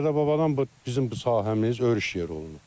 Dədə-babadan bu bizim bu sahəmiz örüş yeri olunub.